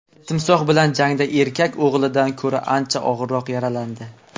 Timsoh bilan jangda erkak o‘g‘lidan ko‘ra ancha og‘irroq yaralandi.